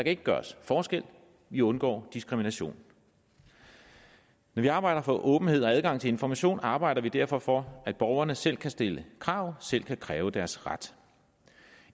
ikke gøres forskel vi undgår diskrimination når vi arbejder for åbenhed og adgang til information arbejder vi derfor for at borgerne selv kan stille krav selv kan kræve deres ret